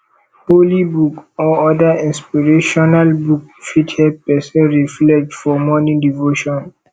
holy book or oda inspirational book fit help person reflect for morning devotion